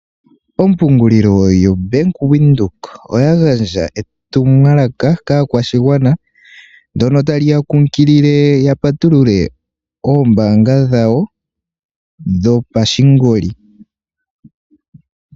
Ompungulilo yoBank windhoek oya gandja etumwalaka kaakwashigwana ndjono tali ya kunkilile yapatulule oombaanga dhawo dhopashingoli.